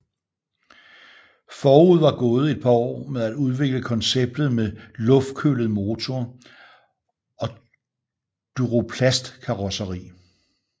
Forud var gået et par år med at udvikle konceptet med Luftkølet motor og Duroplastkarosseri